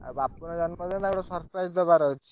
ଆଉ ବାପୁନ୍ ର ଜନ୍ମ ଦିନ ତାକୁ ଗୋଟେ surprise ଦବା ର ଅଛି।